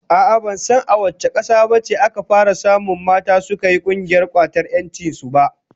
A'a ,ban san ko a wace kasa ce aka fara samun mata suka yi kungiyar kwatar 'yancin su ba.